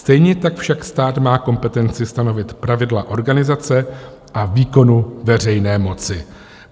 Stejně tak však stát má kompetenci stanovit pravidla organizace a výkonu veřejné moci.